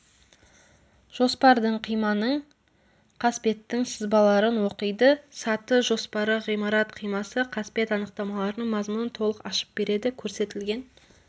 жоспардың қиманың қасбеттің сызбаларын оқиды саты жоспары ғимарат қимасы қасбет анықтамаларының мазмұнын толық ашып береді көрсетілген